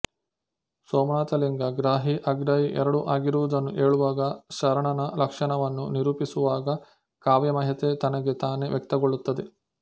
ಸೋಮನಾಥಲಿಂಗ ಗ್ರಾಹಿ ಅಗ್ರಾಹಿ ಎರಡೂ ಆಗಿರುವುದನ್ನು ಹೇಳುವಾಗ ಶರಣನ ಲಕ್ಷಣವನ್ನು ನಿರೂಪಿಸುವಾಗ ಕಾವ್ಯಮಯತೆ ತನಗೆ ತಾನೇ ವ್ಯಕ್ತಗೊಳ್ಳುತ್ತದೆ